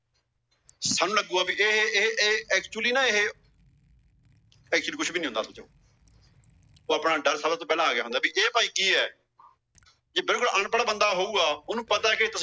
ਥੋਨੂੰ ਲੱਗੂਗਾ ਵੀ ਏ ਏ ਏ actually ਨਾ ਇਹ actually ਕੁਝ ਨਹੀਂ ਹੁੰਦਾ। ਆਪਣਾ ਡਰ ਸਰਿਆ ਤੋਂ ਪਹਿਲਾ ਆ ਗਿਆ ਹੁੰਦਾ। ਇਹ ਭਾਈ ਕਿ ਏ? ਜੋ ਬਿਲਕੁਲ ਅਨਪੜ੍ਹ ਬੰਦਾ ਹੋਊਗਾ ਉਹਨੂੰ ਪਤਾ ਏ